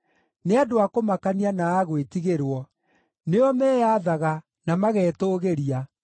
Nĩ andũ a kũmakania, na a gwĩtigĩrwo; nĩo meyathaga, na magetũũgĩria.